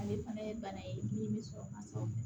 Ale fana ye bana ye min bɛ sɔrɔ ka sɔrɔ